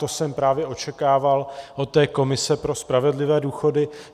To jsem právě očekával od té komise pro spravedlivé důchody.